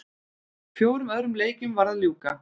Fjórum öðrum leikjum var að ljúka